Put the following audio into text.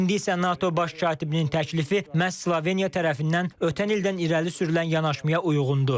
İndi isə NATO baş katibinin təklifi məhz Sloveniya tərəfindən ötən ildən irəli sürülən yanaşmaya uyğundur.